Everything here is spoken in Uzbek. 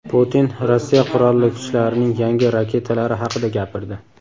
Putin Rossiya Qurolli kuchlarining yangi raketalari haqida gapirdi.